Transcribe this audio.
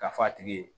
K'a f'a tigi ye